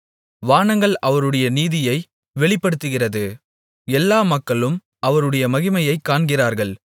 வானங்கள் அவருடைய நீதியை வெளிப்படுத்துகிறது எல்லா மக்களும் அவருடைய மகிமையைக் காண்கிறார்கள்